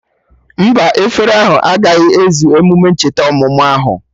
Mba, efere ahụ agaghị ezu emume ncheta ọmụmụ ahụ